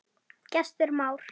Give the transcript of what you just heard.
Gestur Már.